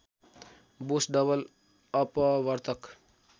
Bose double अपवर्तक